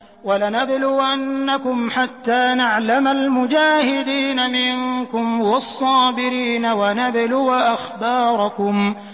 وَلَنَبْلُوَنَّكُمْ حَتَّىٰ نَعْلَمَ الْمُجَاهِدِينَ مِنكُمْ وَالصَّابِرِينَ وَنَبْلُوَ أَخْبَارَكُمْ